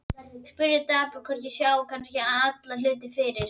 Spyrð dapur hvort ég sjái kannski alla hluti fyrir.